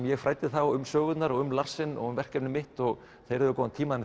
ég fræddi þá um sögurnar og um Larsen og verkefnið mitt og þeir höfðu góðan tíma